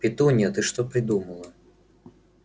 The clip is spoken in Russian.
петунья ты что придумала